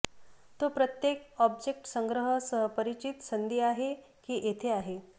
तो प्रत्येक ऑब्जेक्ट संग्रह सह परिचित संधी आहे की येथे आहे